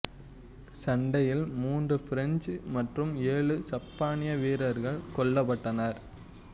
சண்டையில் மூன்று பிரெஞ்சு மற்றும் ஏழு சப்பானிய வீரர்கள் கொல்லப்பட்டனர்